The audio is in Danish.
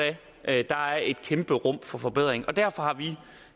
af der er et kæmpe rum for forbedring derfor har vi